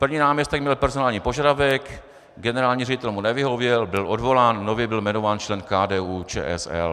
První náměstek měl personální požadavek, generální ředitel mu nevyhověl, byl odvolán, nově byl jmenován člen KDU-ČSL.